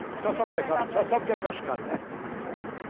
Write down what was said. A senhora sabe o que é, A senhora sabe o que é cascalho né?